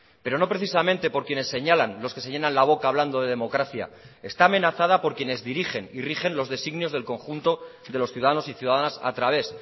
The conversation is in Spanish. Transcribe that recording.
pero no precisamente por quienes señalan los que se llenan la boca hablando de democracia está amenazada por quienes dirigen y rigen los designios del conjunto de los ciudadanos y ciudadanas a través